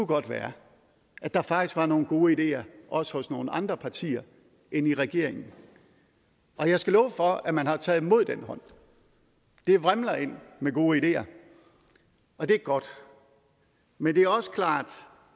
godt være at der faktisk var nogle gode ideer også hos nogle andre partier end i regeringen og jeg skal love for at man har taget imod den hånd det vrimler ind med gode ideer og det er godt men det er også klart